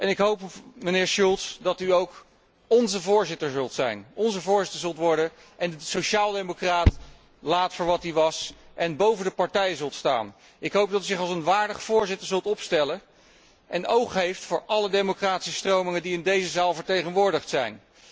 Ik hoop, meneer Schulz, dat u ook ónze voorzitter zult zijn, onze voorzitter zult worden en de sociaal democraat laat voor wat hij was en boven de partijen zult staan. Ik hoop dat u zich als een waardig voorzitter zult opstellen en oog heeft voor alle democratische stromingen die in deze zaal vertegenwoordigd